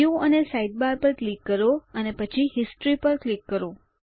view અને sidebar પર click કરો અને પછી હિસ્ટોરી પર ક્લિક કરો